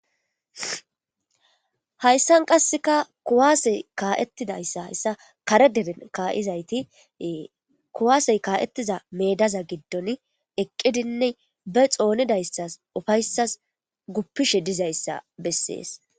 hayssan qasseka kuwaasey kaa7ettidayssa hayssa kare deren ka7izayti kuwaasey kaa7ettiza meedaza giddon eqqidinne be xoonidayssas ufayssas guppishe dizayssa bessees